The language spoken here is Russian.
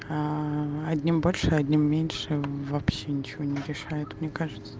одним больше одним меньше вообще ничего не решает мне кажется